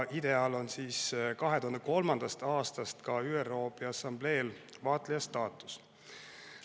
IDEA‑l on 2003. aastast ka ÜRO Peaassambleel vaatleja staatus.